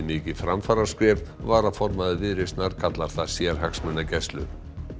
mikið framfaraskref varaformaður Viðreisnar kallar það sérhagsmunagæslu